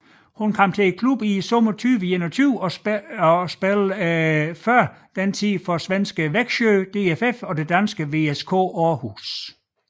Hun kom til klubben i sommeren 2021 og spillede tidligere for svenske Växjö DFF og danske VSK Aarhus